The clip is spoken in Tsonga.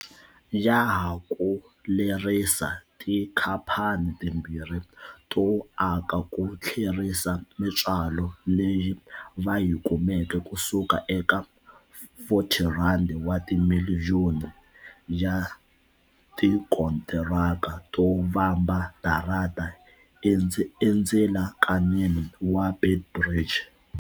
Ya ha ku lerisa tikhamphani timbirhi to aka ku tlherisa mitswalo leyi va yi kumeke kusuka eka R40 wa timiliyoni ya tikontiraka to vamba darata endzilakanini wa Beit Bridge.